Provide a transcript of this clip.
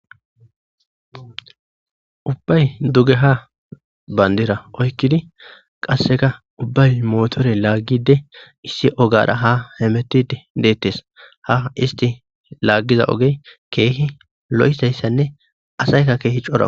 Ubbay dugeha bandira oykkidi qasseka ubbay mootore laaggide issi ogara ha hemettide deettes ha isti laaggiza oge keehi lo7iayssanne asaykka keehi cora.